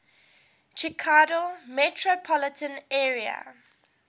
chicago metropolitan area